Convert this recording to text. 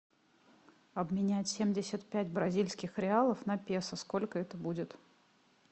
обменять семьдесят пять бразильских реалов на песо сколько это будет